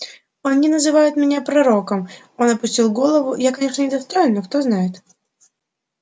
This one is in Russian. они называют меня пророком он опустил голову я конечно недостоин но кто знает